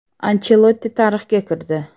Anchelotti tarixga kirdi.